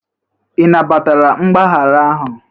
Ị nabatara mgbaghara ahụ?